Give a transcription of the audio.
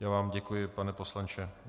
Já vám děkuji, pane poslanče.